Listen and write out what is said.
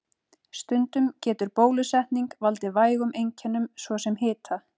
Stundum getur bólusetning valdið vægum einkennum, svo sem hita.